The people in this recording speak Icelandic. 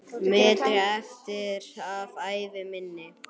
metri eftir af ævi minni.